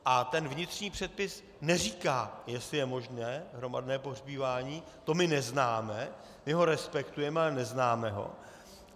A ten vnitřní předpis neříká, jestli je možné hromadné pohřbívání, to my neznáme, my ho respektujeme, ale neznáme ho.